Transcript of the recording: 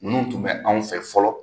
Ninnu tun bɛ anw fɛ fɔlɔ